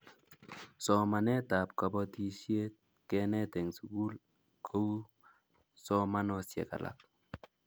Somanetab kobotisiet kenet eng Sukul kou somanosiek alak